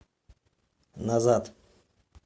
назад